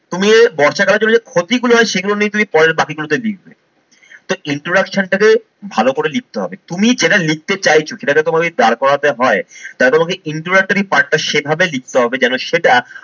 তুমি বর্ষাকালের জন্য যে ক্ষতি গুলো হয় সেগুলো নিয়ে তুমি পরের বাকি গুলোতে লিখবে। So introduction টাকে ভালো করে লিখতে হবে। তুমি যেটা লিখতে চাইছো সেটাকে তোমাকে যদি দাঁড় করাতে হয় তাহলে তোমাকে introductory part টা সেভাবে লিখতে হবে যেন সেটা